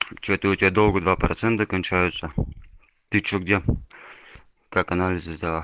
че-то у тебя долго два процента кончаются ты че где как анализы сдала